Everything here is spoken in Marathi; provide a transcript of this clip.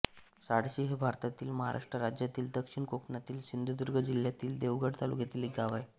साळशी हे भारतातील महाराष्ट्र राज्यातील दक्षिण कोकणातील सिंधुदुर्ग जिल्ह्यातील देवगड तालुक्यातील एक गाव आहे